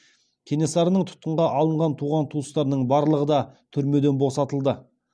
кенесарының тұтқынға алынған туған туыстарының барлығы да түрмеден босатылды